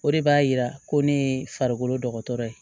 O de b'a yira ko ne ye farikolo dɔgɔtɔrɔ ye